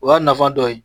O y'a nafa dɔ ye